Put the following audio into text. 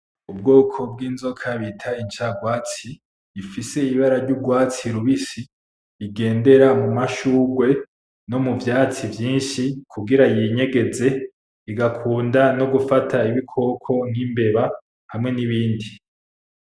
Ubwoko bw'inzoka bita incarwatsi ifise ibara ryuwatsi rubisi igendera mumashugwe no mu vyatsi vyinshi kugira yinyegeze igakunda gufata ibikoko nk'imbeba hamwe nibindi .